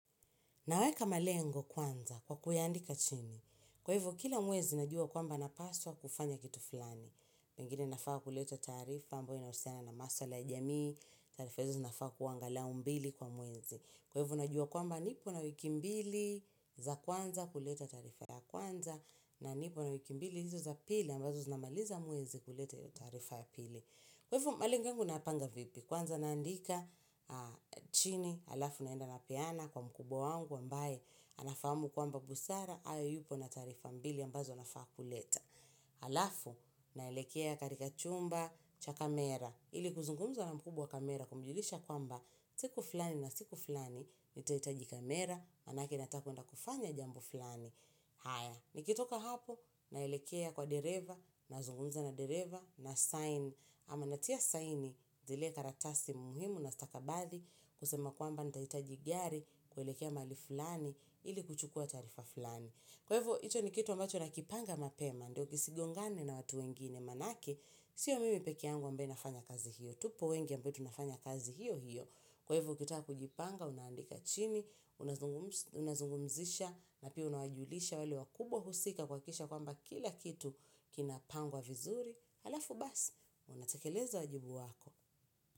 Naweka malengo kwanza kwa kuyaandika chini. Kwa hivo, kila mwezi najua kwamba napaswa kufanya kitu fulani. Pengine nafaa kuleta taarifa ambayo inahusiana na maswala ya jamii. Taarifa hizo zinafaa kua angalau mbili kwa mwezi. Kwa hivo, najua kwamba nipo na wiki mbili za kwanza kuleta taarifa ya kwanza na nipo na wiki mbili hizo za pili ambazo zinamaliza mwezi kuleta hiyo taarifa ya pili. Kwa hivyo malengo yangu nayapanga vipi kwanza naandika chini alafu naenda napeana kwa mkubwa wangu ambaye anafahamu kwamba busara hayo yupo na taarifa mbili ambazo nafaa kuleta. Alafu naelekea katika chumba cha kamera ili kuzungumza na mkubwa wa kamera kumjulisha kwamba siku fulani na siku fulani nitahitaji kamera maanake natakwenda kufanya jambo fulani. Haya, nikitoka hapo naelekea kwa dereva nazungumza na dereva na sign ama natia sign zile karatasi muhimu na stakabathi kusema kwamba nitahitaji gari kuelekea mali fulani ili kuchukua taarifa fulani. Kwa hivyo, hicho ni kitu ambacho nakipanga mapema, ndio kisigongane na watu wengine maanake sio mimi peke yangu ambayo nafanya kazi hiyo, tupo wengi ambayo nafanya kazi hiyo, hiyo. Kwa hivo ukitaka kujipanga, unaandika chini, unazungumzisha, napia unawajulisha wale wakubwa husika kuhakikisha kwamba kila kitu kinapangwa vizuri, halafu basi, unatekeleza wajibu wako.